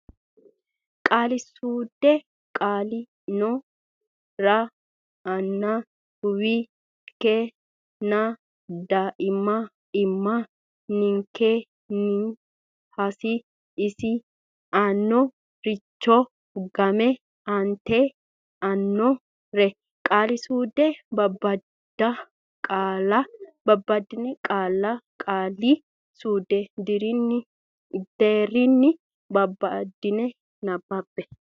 Qaali suude Qaale ino raa ann uwi nke nna daaim imma nke nni has iis anno richoo gaam ant anno ree Qaali suude Babbada qaalla qaali suudu deerrinni babbaddine nabbabbe.